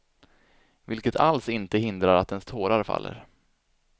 Vilket alls inte hindrar att ens tårar faller.